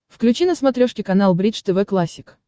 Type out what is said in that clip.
включи на смотрешке канал бридж тв классик